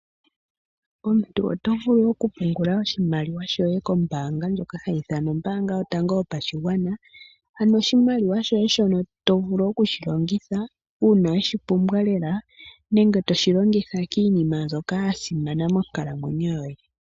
Omuntu oto vulu okupungula oshimaliwa shoye kombaanga ndjoka hayi ithanwa ombaanga yotango yopashiganwa ano oshimaliwa shoye shono to vulu oku shi longithwa uuna we shi pumbwa lela nenge to shi longitha kiinima mbyoka ya simana monkalamwenyo yoye.